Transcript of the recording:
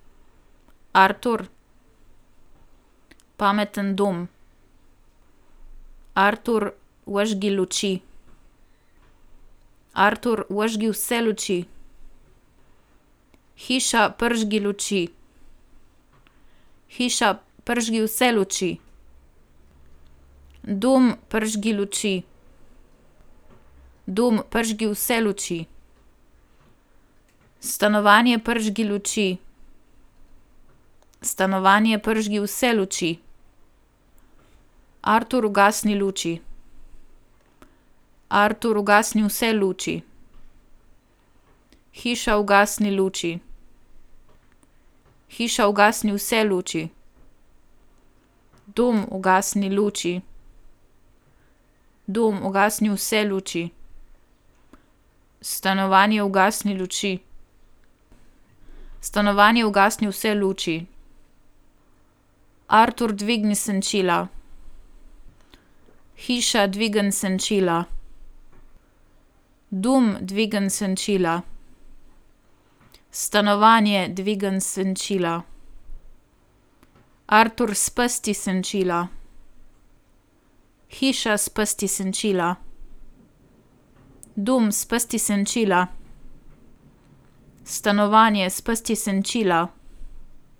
Artur. Pameten dom. Artur, prižgi luči. Artur, prižgi vse luči. Hiša, prižgi luči. Hiša, prižgi vse luči. Dom, prižgi luči. Dom, prižgi vse luči. Stanovanje, prižgi luči. Stanovanje, prižgi vse luči. Artur, ugasni luči. Artur, ugasni vse luči. Hiša, ugasni luči. Hiša, ugasni vse luči. Dom, ugasni luči. Dom, ugasni vse luči. Stanovanje, ugasni luči. Stanovanje, ugasni vse luči. Artur, dvigni senčila. Hiša, dvigni senčila. Dom, dvigni senčila. Stanovanje, dvigni senčila. Artur, spusti senčila. Hiša, spusti senčila. Dom, spusti senčila. Stanovanje, spusti senčila.